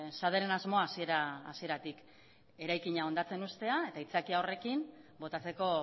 saderen asmoa hasiera hasieratik eraikina hondatzen uztea eta aitzakia horrekin botatzeko